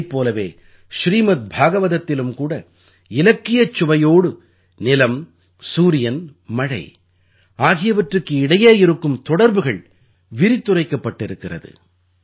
இதைப் போலவே ஸ்ரீமத் பாகவதத்திலும் கூட இலக்கியச் சுவையோடு நிலம் சூரியன் மழை ஆகியவற்றுக்கு இடையே இருக்கும் தொடர்புகள் விரித்துரைக்கப்பட்டிருக்கிறது